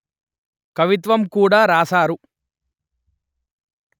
కవిత్వం కూడ రాశారు